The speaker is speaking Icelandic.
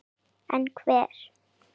En hver?